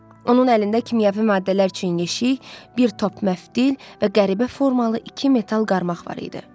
Onun əlində kimyəvi maddələr üçün yeşik, bir top məftil və qəribə formalı iki metal qarmaq var idi.